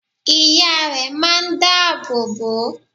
Ìya rẹ máa n dá àbò bò o